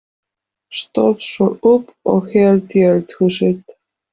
Stóð svo upp og hélt í eldhúsið.